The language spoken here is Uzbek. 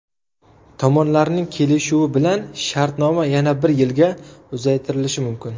Tomonlarning kelishuvi bilan shartnoma yana bir yilga uzaytirilishi mumkin.